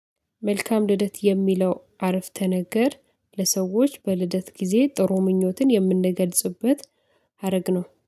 መልካም ልደት የሚለው አረፍተ ነገር ለሰዎች በልደት ጊዜ ጥሩ ምኞትን የምንገልጽበት ሀረግ ነው